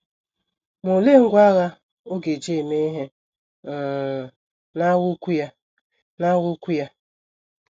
Ma olee ngwá agha ọ ga - eji eme ihe um n’agha ukwu ya n’agha ukwu ya?